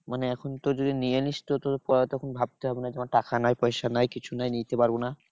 মানে এখন তোর যদি নিয়ে নিস্ তো তোর পরে তখন ভাবতে হবে না। ধর টাকা নাই পয়সা নাই কিছু নাই নিতে পারবো না।